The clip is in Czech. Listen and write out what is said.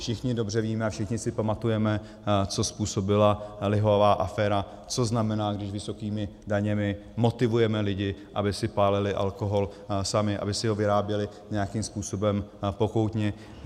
Všichni dobře víme a všichni si pamatujeme, co způsobila lihová aféra, co znamená, když vysokými daněmi motivujeme lidi, aby si pálili alkohol sami, aby si ho vyráběli nějakým způsobem pokoutně.